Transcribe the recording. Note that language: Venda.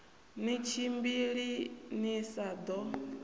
ni tshimbili ni sa ḓo